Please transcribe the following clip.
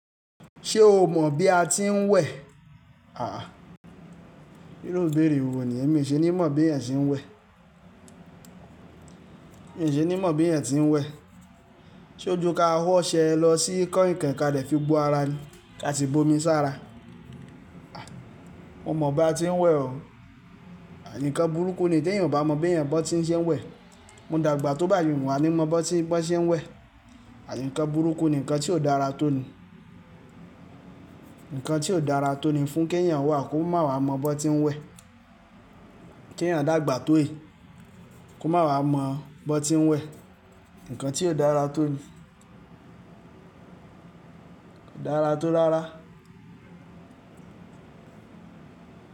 Ṣé o mọ̀ bí a ti ń wẹ̀? Aà, iru ibẹ́rẹ̀ wo ni? Èmi ṣe ní mọ̀ bí ẹ̀yin ṣe ń wẹ̀. Èmi ṣe ní mọ̀ bí ẹ̀yin ṣe ń wẹ̀. Sé ojú ka ho ọṣẹ lọ sí ikọ́ nǹkan kí a lè fi bu ara ní ká ti bomi sára. Mo mọ̀ bí a ti ń wẹ̀ o. Àìníkan burúkú ni tí èèyàn ò bá mọ bí èèyàn bọ́ tí ń ṣe ń wẹ̀. Mo dàgbà tó bá yàn wá ní mọ bọ́ tí ń ṣe ń wẹ̀. Àìníkan burúkú ni nǹkan tí ò dára tó ni. Nǹkan tí ò dára tó ni fún kí ẹ̀yàn wà kó má wá mọ bọ́ tí ń wẹ̀. Kí ẹ̀yàn dàgbà tó è, kó má wá mọ bọ́ tí ń wẹ̀. Nǹkan tí ò dára tó ni. Kò dára tó rárá.